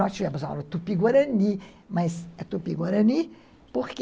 Nós tivemos aula tupi-guarani, mas é tupi-guarani por quê?